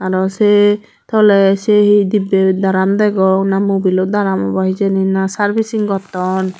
aro se tole se he dibbe drum degong na mobil o drum obo hijeni na servicing gotton.